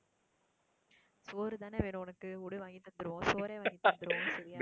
சோறுதானே வேணும் உனக்கு விடு வாங்கித் தந்துருவோம். சோறே வாங்கித்தந்துருவோம் சரியா.